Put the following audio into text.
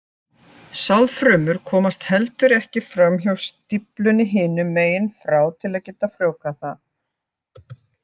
Sáðfrumur komast heldur ekki fram hjá stíflunni hinum megin frá til að geta frjóvgað það.